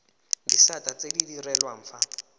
disata tse di direlwang fa